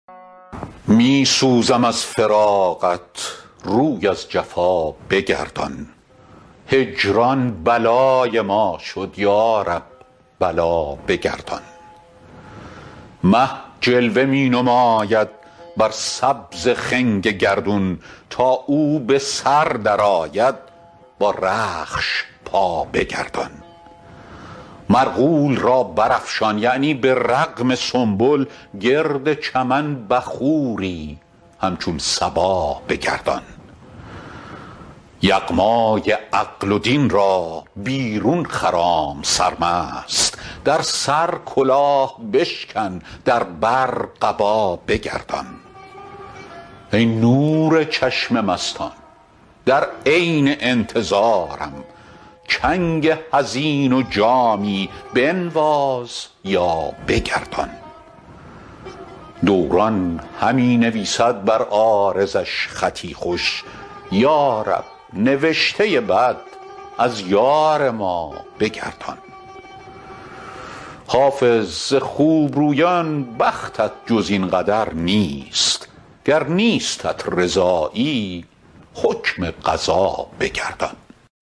می سوزم از فراقت روی از جفا بگردان هجران بلای ما شد یا رب بلا بگردان مه جلوه می نماید بر سبز خنگ گردون تا او به سر درآید بر رخش پا بگردان مرغول را برافشان یعنی به رغم سنبل گرد چمن بخوری همچون صبا بگردان یغمای عقل و دین را بیرون خرام سرمست در سر کلاه بشکن در بر قبا بگردان ای نور چشم مستان در عین انتظارم چنگ حزین و جامی بنواز یا بگردان دوران همی نویسد بر عارضش خطی خوش یا رب نوشته بد از یار ما بگردان حافظ ز خوبرویان بختت جز این قدر نیست گر نیستت رضایی حکم قضا بگردان